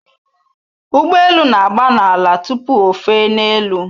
Ụgbọ elu na-agba n'ala tupu ofe n'elu